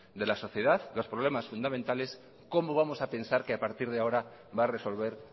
de la sociedad los problemas fundamentales cómo vamos a pensar que a partir de ahora va a resolver